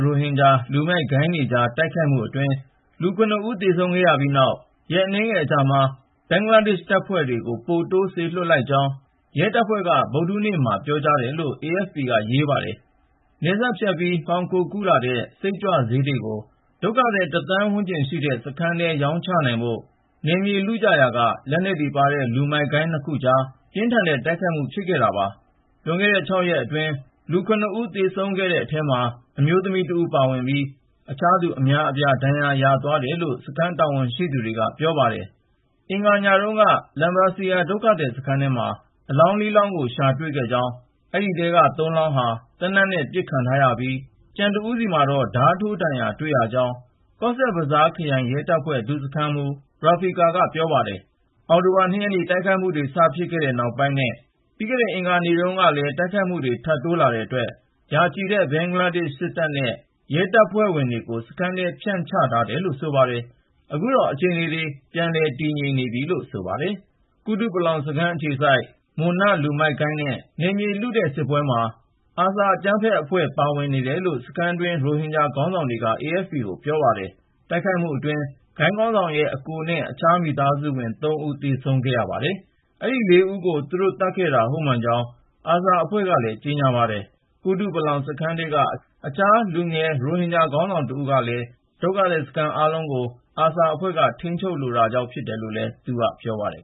ရိုဟင်ဂျာ လူမိုက်ဂိုဏ်းတွေကြား တိုက်ခိုက်မှုအတွင်း လူ (၇)ဦး သေဆုံးခဲ့ရပြီးနောက် ရက်အနည်းငယ်အကြာမှာ ဘင်္ဂလားဒေ့ရှ် တပ်ဖွဲ့ တွေကို ပိုပြီး စေလွှတ်လိုက်ကြောင်း ရဲတပ်ဖွဲ့က ဗုဒ္ဓဟူးနေ့မှာပြောကြားတယ်လို့ AFP က ရေးပါတယ်။ နယ်စပ်ဖြတ်ပြီး မှောင်ခိုကူးလာတဲ့ Methamphetamine စိတ်ကြွ ဆေးတွေကို ဒုက္ခသည် ၁ သန်းဝန်းကျင်ရှိတဲ့ စခန်းထဲ ရောင်းချဖို့ နယ်မြေလုကြရာက လက်နက်တွေပါတဲ့ လူမိုက်ဂိုဏ်းနှစ်ခုကြားမှာ ပြင်းထန်တဲ့ တိုက်ခိုက်မှု ဖြစ်ခဲ့တာပါ။ လွန်ခဲ့တဲ့ ၆ ရက်အတွင်း လူ(၇)ဦး သေဆုံးခဲ့တဲ့အထဲမှာ အမျိုးသမီးတဦး ပါဝင်ပြီး အခြားသူ အများအပြား ဒဏ်ရာရသွားတယ်လို့ စခန်းတာဝန်ရှိသူ တွေက ပြောပါတယ်။ အင်္ဂါနေ့ညတုန်းက Lambasia ဒုက္ခသည်စခန်းထဲမှာ အလောင်း(၄)လောင်းကို ရှာတွေ့ခဲ့ကြောင်း အဲဒီထဲက (၃)လောင်းဟာ သေနတ်နဲ့ ပစ်ခံထားရပြီး ၊ ကျန်တဦးဆီမှာတော့ ဓါးထိုးဒဏ်ရာ တွေ့ရကြောင်း - ကော့ဆက်ဘဇားခရိုင်ရဲတပ်ဖွဲ့ ဒုစခန်းမှူး Rafiqul Islam က ပြောပါတယ်။ အောက်တိုဘာ ၂ ရက်နေ့ တိုက်ခိုက်မှုတွေ စဖြစ်ခဲ့တဲ့နောက်ပိုင်းနဲ့ ပြီးခဲ့တဲ့အင်္ဂါနေ့တုန်းကလည်း တိုက်ခိုက်မှုတွေ ထပ်တိုးလာတဲ့အတွက် ရာချီတဲ့ ဘင်္ဂလားဒေ့ရှ် စစ်တပ်နဲ့ ရဲတပ်ဖွဲ့ကို စခန်းထဲ ဖြန့်ချထားတယ်လို့ ဆိုပါတယ်။ အခုတော့ အခြေအနေတွေ ငြိမ်သက်နေတယ်လို့ ဆိုပါတယ်။ ကုတုပလောင်စခန်း အခြေစိုက် Munna လူမိုက်ဂိုဏ်းနဲ့ နယ်မြေလုတဲ့ စစ်ပွဲမှာ ARSA အကြမ်းဖက်အဖွဲ့ ပါဝင်နေတယ်လို့ စခန်းတွင်းရိုဟင်ဂျာ ခေါင်းဆောင်တွေက AFP ကို ပြောပါတယ်။ တိုက်ခိုက်မှုတွေအတွင်း ဂိုဏ်ခေါင်းဆောင်ရဲ့ အစ်ကိုနဲ့ အခြားမိသားစုဝင် ၃ ဦး သေဆုံးခဲ့ရပါတယ်။ အဲဒီ ၄ ဦးကို သူတို့ သတ်ခဲ့တာ ဟုတ်မှန်ကြောင်း ARSA အဖွဲ့ကလည်း ကြေညာပါတယ်။ ကုတုပလောင် စခန်းထဲက အခြား လူငယ်ရိုဟင်ဂျာ ခေါင်းဆောင်တဦးကလည်း အခုတိုက်ခိုက်မှုတွေရဲ့ နောက်က ွယ်မှာ ARSA အဖွဲ့ ရှိကြောင်း ပြောပါတယ်။ ဒုက္ခသည်စခန်းအားလုံးကို ARSA အဖွဲ့က ထိန်းချုပ်လိုတာ ဖြစ်တယ်လို့လည်း သူက ပြောပါတယ်